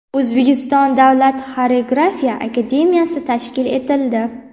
O‘zbekiston davlat xoreografiya akademiyasi tashkil etildi.